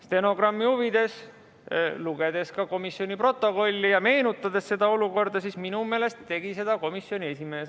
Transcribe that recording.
Stenogrammi huvides ütlen, et kui lugeda komisjoni protokolli ja meenutada seda olukorda, siis minu meelest tegi seda komisjoni esimees.